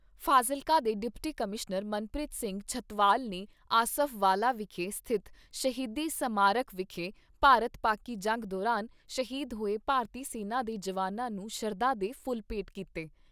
ਫਾਜ਼ਿਲਕਾ ਦੇ deputy commissioner Manpreet Singh Chhatwal ਨੇ Asafwala ਵਿਖੇ ਸਥਿਤ ਸ਼ਹੀਦੀ ਸਮਾਰਕ ਵਿਖੇ ਭਾਰਤ ਪਾਕਿ ਜੰਗ ਦੌਰਾਨ ਸ਼ਹੀਦ ਹੋਏ ਭਾਰਤੀ ਸੈਨਾ ਦੇ ਜਵਾਨਾਂ ਨੂੰ ਸ਼ਰਧਾ ਦੇ ਫੁੱਲ ਭੇਂਟ ਕੀਤੇ।